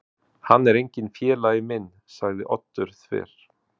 Hann er enginn félagi minn- sagði Oddur þver